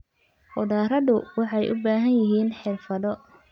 Khudradu waxay u baahan yihiin xirfado.